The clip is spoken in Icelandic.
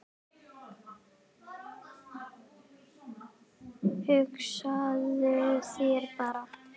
Hugsaðu þér bara